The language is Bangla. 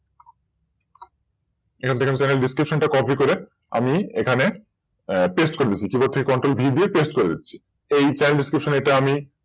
এখান থেকে Channel description টা Copy করে আমি এখানে Paste করে দিচ্ছি Cntrolv দিয়ে Paste করে দিচ্ছি তো এই Channel description টা আমার